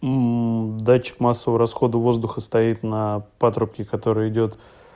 датчик массового расхода воздуха стоит на патрубке который идёт